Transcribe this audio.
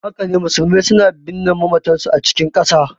Haka ne, musulmai suna binne mamatansu a cikin ƙasa.